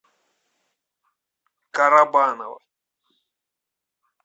карабаново